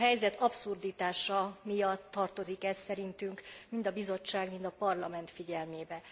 A helyzet abszurditása miatt tartozik ez szerintünk mind a Bizottság, mind a Parlament figyelmébe.